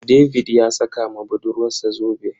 David ya saka ma budurwarsa zobe.